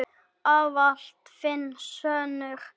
Ávallt þinn sonur, Óðinn.